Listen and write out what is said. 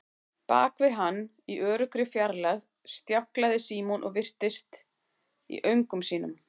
Bak við hann, í öruggri fjarlægð, stjáklaði Símon og virtist í öngum sínum.